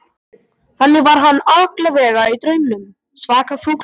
Þannig var hann allavega í draumnum, svaka fúll og reiður.